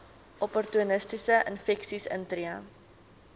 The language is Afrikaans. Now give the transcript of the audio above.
opportunistiese infeksies intree